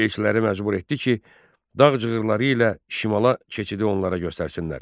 Elçiləri məcbur etdi ki, Dağ cığırları ilə şimala keçidi onlara göstərsinlər.